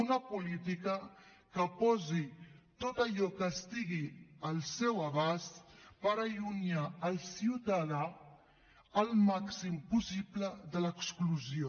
una política que posi tot allò que estigui al seu abast per allunyar el ciutadà el màxim possible de l’exclusió